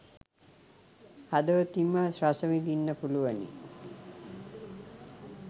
හදවතින්ම රසවිඳින්න පුළුවනි.